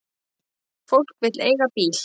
Fólk vill eiga bíl.